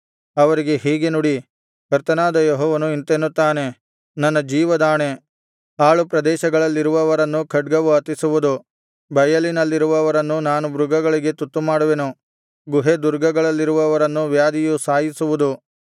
ಅವರಿಗೆ ಹೀಗೆ ನುಡಿ ಕರ್ತನಾದ ಯೆಹೋವನು ಇಂತೆನ್ನುತ್ತಾನೆ ನನ್ನ ಜೀವದಾಣೆ ಹಾಳು ಪ್ರದೇಶಗಳಲ್ಲಿರುವವರನ್ನು ಖಡ್ಗವು ಹತಿಸುವುದು ಬಯಲಿನಲ್ಲಿರುವವರನ್ನು ನಾನು ಮೃಗಗಳಿಗೆ ತುತ್ತುಮಾಡುವೆನು ಗುಹೆ ದುರ್ಗಗಳಲ್ಲಿರುವವರನ್ನು ವ್ಯಾಧಿಯು ಸಾಯಿಸುವುದು